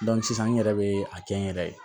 sisan n yɛrɛ bɛ a kɛ n yɛrɛ ye